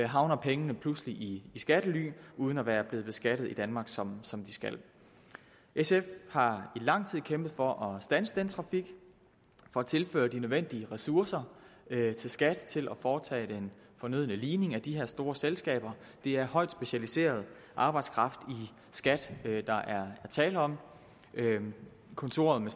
havner pengene pludselig i skattely uden at være blevet beskattet i danmark som som de skal sf har i lang tid kæmpet for at standse den trafik for at tilføre de nødvendige ressourcer til skat til at foretage den fornødne ligning af de her store selskaber det er højt specialiseret arbejdskraft i skat der er tale om kontoret